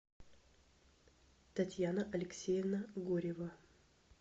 татьяна алексеевна горева